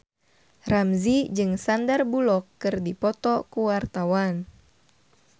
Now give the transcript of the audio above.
Ramzy jeung Sandar Bullock keur dipoto ku wartawan